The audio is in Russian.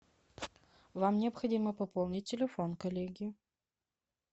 вам необходимо пополнить телефон коллеги